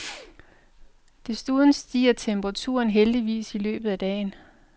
Desuden stiger temperaturen heldigvis i løbet af dagen.